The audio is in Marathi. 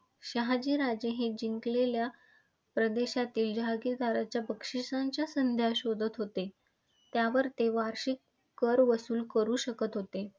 शहाजी राजे हे जिंकलेल्या प्रदेशातील जहांगीरदारांच्या बक्षिसांच्या संधी शोधत होते. त्यावर ते वार्षिक कर वसूल करु शकत होते.